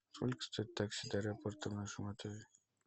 сколько стоит такси до аэропорта в нашем отеле